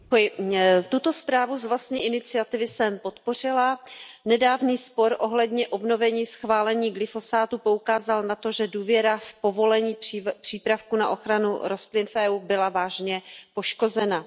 Paní předsedající, tuto zprávu z vlastní iniciativy jsem podpořila. Nedávný spor ohledně obnovení schválení glyfosátů poukázal na to, že důvěra v povolení přípravků na ochranu rostlin v EU byla vážně poškozena.